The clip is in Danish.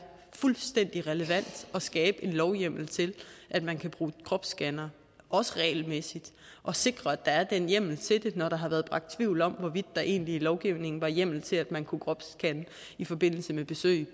fuldstændig relevant at skabe en lovhjemmel til at man kan bruge kropsscannere også regelmæssigt og sikre at der er den hjemmel til det når der har været rejst tvivl om hvorvidt der egentlig i lovgivningen var hjemmel til at man kunne kropsscanne i forbindelse med besøg